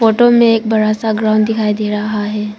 Photo में एक बड़ा सा ग्राउंड दिखाई दे रहा है।